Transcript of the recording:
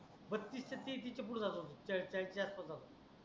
बतीसच्या तीस च्या पूड जात होता चाडिस चाडिस जास्तच झाल